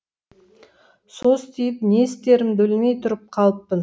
состиып не істерімді білмей тұрып қалыппын